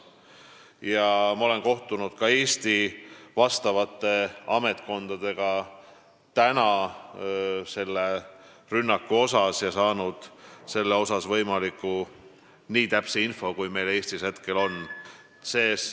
Ma olen täna kohtunud ka Eesti vastavate ametkondade esindajatega ja saanud selle rünnaku kohta nii täpse info, kui meil Eestis on praegu võimalik saada.